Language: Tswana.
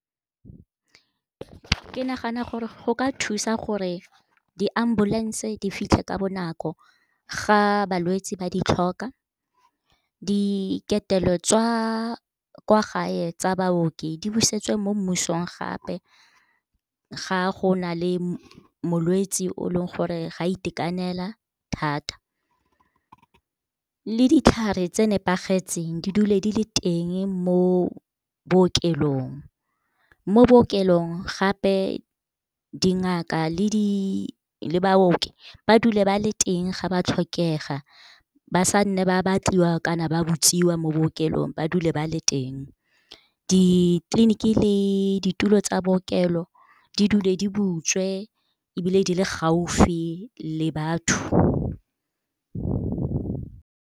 Ke nagana gore go ka thusa gore di-ambulance-e di fitlhe ka bonako ga balwetsi ba di tlhoka. Di ketelo tsa kwa gae tsa baoki, di busetswe mo mmusong gape. Ga go na le molwetsi o leng gore ga itekanela thata, le ditlhare tse nepagetseng di dule di le teng mo bookelong. Mo bookelong gape, dingaka le baoki ba dule ba le teng ga ba tlhokega, ba sanna ba batliwa kana ba mo bookelong, ba dule ba le teng. Ditleliniki le ditulo tsa bookelo, di dule di butswe ebile di le gaufi le batho.